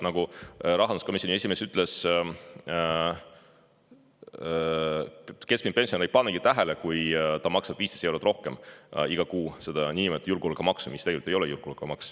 Nagu rahanduskomisjoni esimees ütles, keskmine pensionär ei panevat tähelegi, kui ta iga kuu maksab 15 eurot rohkem, nimelt seda niinimetatud julgeolekumaksu, mis tegelikult ei ole ju julgeolekumaks.